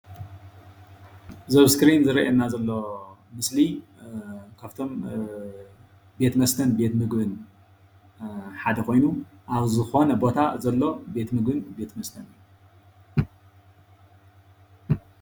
እዚ ኣብ እስክሪን ዝረአየና ዘሎ ምስሊ ካብቶም ቤት መስተን ቤት ምግብን ሓደ ኮይኑ አብ ዝኮነ ቦታ ዘሎ ቤት መስተን ቤት ምግብን እዩ፡፡